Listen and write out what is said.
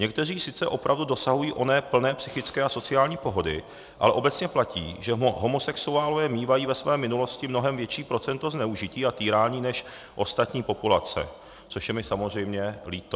Někteří sice opravdu dosahují oné plné psychické a sociální pohody, ale obecně platí, že homosexuálové mívají ve své minulosti mnohem větší procento zneužití a týrání než ostatní populace," což je mi samozřejmě líto.